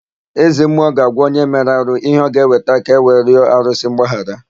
Ezemmụọ ga-agwa onye mere arụ ihe ọ ga-eweta ka ewe rịọ arụsị mgbaghara.